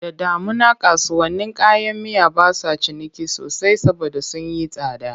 Da damuna kasuwannin kayan miya ba sa ciniki sosai saboda sun yi tsada.